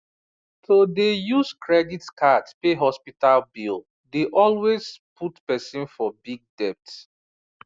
to dey use credit card pay hospital bill dey always put person for big debt